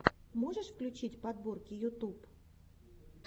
можешь включить подборки ютуб